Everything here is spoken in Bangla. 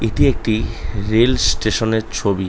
এটি একটি রেল স্টেশন - এর ছবি।